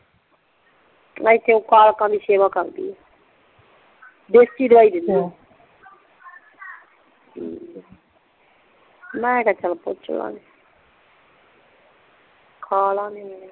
ਇੱਥੇ ਓ ਕਾਲਕਾ ਦੇ ਸੇਵਾ ਕਰਦੀ ਆ ਦੇਸੀ ਦਵਾਈ ਦਿੰਦੀ ਅੱਛਾ ਠੀਕ ਆ ਮੈਂ ਕਿਹਾ ਚਆਲ ਪੁੱਛ ਲਵਾਂਗੇ ਖਾ ਲਵਣਗੇ